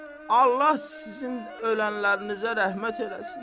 Allah sizin ölənlərinizə rəhmət eləsin.